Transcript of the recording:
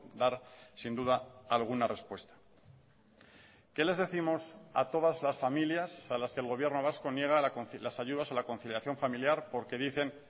dar sin duda alguna respuesta qué les décimos a todas las familias a las que el gobierno vasco niega las ayudas a la conciliación familiar porque dicen